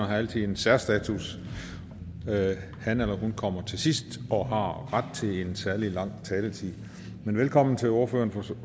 har altid en særstatus hanhun kommer til sidst og har ret til en særlig lang taletid velkommen til ordføreren